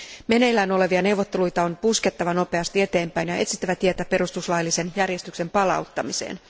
Meneillään olevia neuvotteluita on puskettava nopeasti eteenpäin ja etsittävä tietä perustuslaillisen järjestyksen palauttamiseen.